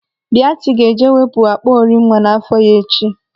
Biati ga-eje ewepụ akpụ ori nwa n'afọ ya echi.